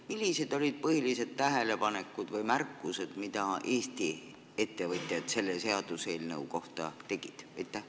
Millised olid põhilised tähelepanekud või märkused, mida Eesti ettevõtjad selle seaduseelnõu kohta tegid?